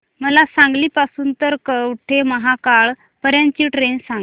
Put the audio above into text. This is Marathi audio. मला सांगली पासून तर कवठेमहांकाळ पर्यंत ची ट्रेन सांगा